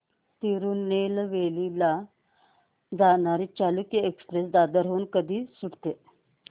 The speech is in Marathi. तिरूनेलवेली ला जाणारी चालुक्य एक्सप्रेस दादर हून कधी सुटते